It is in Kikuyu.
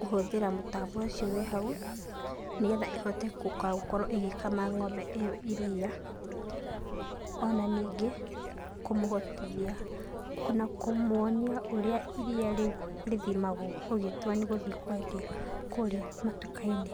kũhũthĩra mũtambo ũcio wĩhau, nĩgetha ĩhote kũkakorwo ĩgĩkama ng'ombe ĩo iria. Ona nyingĩ kũmũhotithia na kũmwonia ũrĩa iria rĩthimagwo ũgĩtua nĩgũthiĩ kwendia kũrĩa matuka-inĩ.